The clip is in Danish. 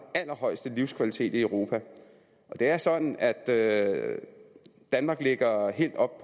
allerhøjeste livskvalitet i europa og det er sådan at at danmark ligger helt oppe